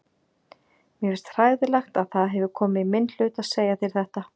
Mér finnst hræðilegt að það hefur komið í minn hlut að segja þér þetta.